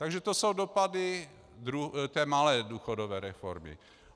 Takže to jsou dopady té malé důchodové reformy.